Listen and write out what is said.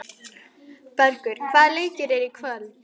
Bergur, hvaða leikir eru í kvöld?